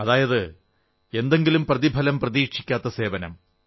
അതായത് എന്തെങ്കിലും പ്രതിഫലം പ്രതീക്ഷിക്കാത്ത സേവനം